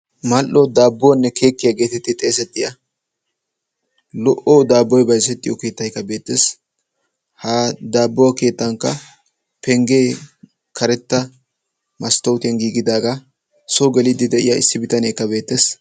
Mal"o daabbuwanne keekkiya geetetti xeesettiya lo"o daabboy bayzettiyo keettaykka beettees. Ha daabbuwa keettankka penggee karetta masttootiyan giigidaagaa. Soo geliiddi de'iya issi bitaneekka beettees.